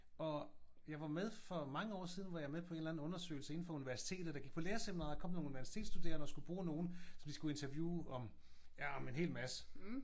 Og jeg var med for mange år siden var jeg med på en eller anden undersøgelse inde for universitetet. Da jeg gik på lærerseminaret kom der nogen universitetsstuderende og skulle bruge nogen som de skulle interviewes om ja om en helt masse